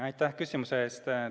Aitäh küsimuse eest!